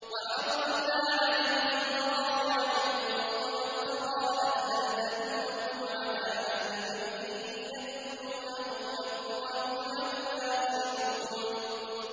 ۞ وَحَرَّمْنَا عَلَيْهِ الْمَرَاضِعَ مِن قَبْلُ فَقَالَتْ هَلْ أَدُلُّكُمْ عَلَىٰ أَهْلِ بَيْتٍ يَكْفُلُونَهُ لَكُمْ وَهُمْ لَهُ نَاصِحُونَ